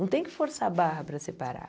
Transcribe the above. Não tem que forçar a barra para separar.